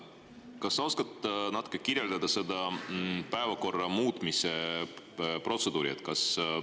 Kas sa oskad natukene kirjeldada seda päevakorra muutmise protseduuri?